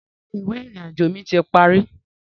Rárá, ìwé ìrìnàjò mi ti parí